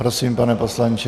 Prosím, pane poslanče.